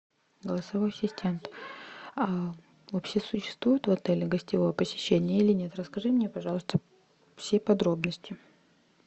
голосовой ассистент вообще существует в отеле гостевое посещение или нет расскажи мне пожалуйста все подробности